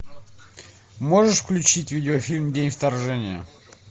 можешь включить видеофильм день вторжения